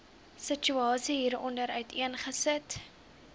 situasie hieronder uiteengesit